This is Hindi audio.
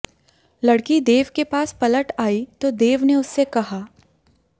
लड़की देव के पास पलट आई तो देव ने उससे कहा